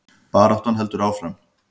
Baráttan heldur áfram